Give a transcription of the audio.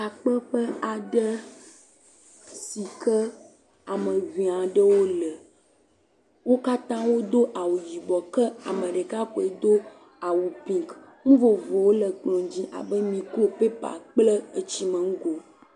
Takpeƒe aɖe si ke ameŋee aɖewo le wokatã wodo awu yi ke ame ɖeka koe do awu pink, nu vovovowo lem kplɔ dzi abe niko, paper kple tsino nugo.